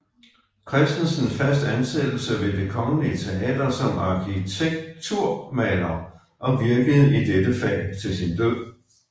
Christensen fast ansættelse ved Det Kongelige Teater som arkitekturmaler og virkede i dette fag til sin død